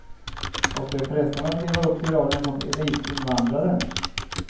Och det är frestande att leva upp till rollen som elitinvandraren.